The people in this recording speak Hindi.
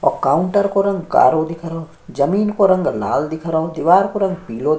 और काउंटर को रंग कारो दिख रहो जमीन को रंग लाल दिख रहो दीवाल को रंग पिलो --